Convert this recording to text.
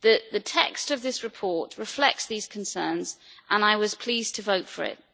The text of this report reflects these concerns and I was pleased to vote for it.